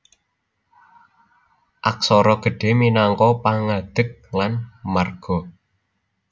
Aksara gedhé minangka pangadeg klan marga